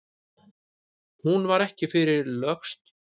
Hún var ekki fyrr lögst út af en upp reis skáld.